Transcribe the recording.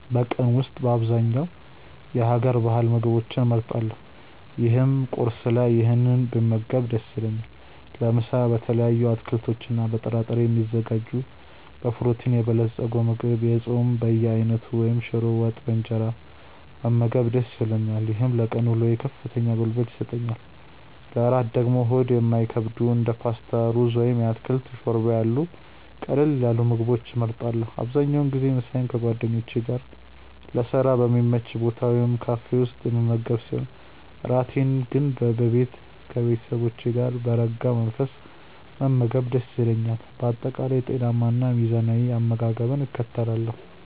በቀን ውስጥ በአብዛኛው የሀገር ባህል ምግቦችን እመርጣለሁ ይህም ቁርስ ላይ ይህንን ብመገብ ደስ ይለኛል። ለምሳ በተለያዩ አትክልቶችና በጥራጥሬ የሚዘጋጅ በፕሮቲን የበለፀገ ምግብ፣ የጾም በየአይነቱ ወይም ሽሮ ወጥ በእንጀራ መመገብ ደስ ይለኛል። ይህም ለቀን ውሎዬ ከፍተኛ ጉልበት ይሰጠኛል። ለእራት ደግሞ ሆድ የማይከብዱ እንደ ፓስታ፣ ሩዝ ወይም የአትክልት ሾርባ ያሉ ቀለል ያሉ ምግቦችን እመርጣለሁ። አብዛኛውን ጊዜ ምሳዬን ከጓደኞቼ ጋር ለስራ በሚመች ቦታ ወይም ካፌ ውስጥ የምመገብ ሲሆን፣ እራቴን ግን በቤቴ ከቤተሰቦቼ ጋር በረጋ መንፈስ መመገብ ደስ ይለኛል። በአጠቃላይ ጤናማና ሚዛናዊ አመጋገብን እከተላለሁ።